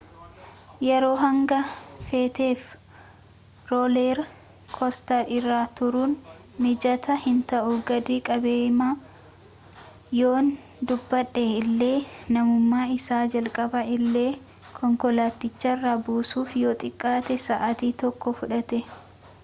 yeroo hanga feeteef rooler koostar irra turuun mijataa hinta'u gadi qabeema yoon dubbadhe illee namuma isa jalqabaa illee konkolaaticharraa buusuuf yoo xiqqaate sa'atii tokko fudhate